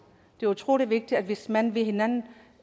det er utrolig vigtigt hvis man vil hinanden